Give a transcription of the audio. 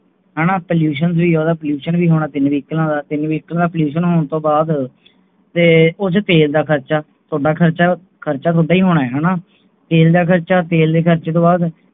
ਹਾਣਾ Pollution ਵੀ Pollution ਟੀਨ ਵਹੀਕਲਾਂ ਦਾ Vehicla ਦਾ Pollution ਹੋਣ ਤੋਂ ਬਾਅਦ ਉਚ ਤੇਲ ਦਾ ਖਰਚਾ ਆਪਾਂ ਖਰਚਾ ਉਹਦਾ ਹੀ ਹੋਣਾ ਤੇਲ ਦਾ ਖਰਚਾ ਬਾਅਦ